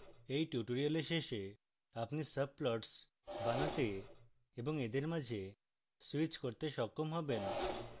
at tutorial শেষে আপনি subplots বানাতে এবং এদের মাঝে switch করতে সক্ষম হবেন